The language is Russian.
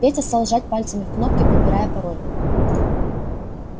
петя стал жать пальцами в кнопки подбирая пароль